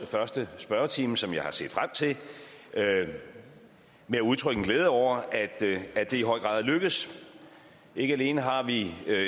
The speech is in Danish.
første spørgetime som jeg har set frem til med at udtrykke glæde over at det i høj grad er lykkedes ikke alene har vi